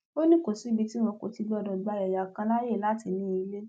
ó ní kò síbi tí wọn kò ti gbọdọ gba ẹyà kan láàyè láti ní ilé